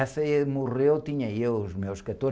Essa morreu, tinha eu os meus quatorze...